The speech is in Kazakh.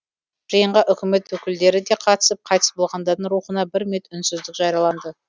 жиынға үкімет өкілдері де қатысып қайтыс болғандардың рухына бір минут үнсіздік жарияланды